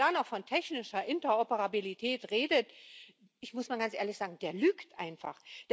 Wer da noch von technischer Interoperabilität redet, das muss ich mal ganz ehrlich sagen, der lügt einfach!